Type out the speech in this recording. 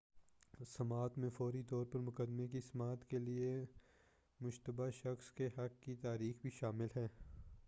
سماعت میں فوری طور پر مقدمے کی سماعت کے لئے مشتبہ شخص کے حق کی تاریخ بھی شامل ہے